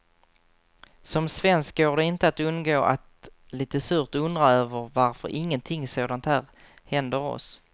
Som svensk går det inte att undgå att lite surt undra över varför ingenting sådant här händer oss.